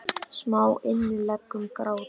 Smá innlegg um grát.